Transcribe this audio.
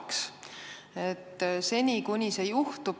Aga läheb aega, enne kui see juhtub.